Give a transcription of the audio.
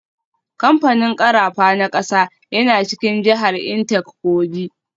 Kamfanin karafa na kasa yana cikin jihar Intake Kogi.